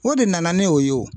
O de nana ni o ye o.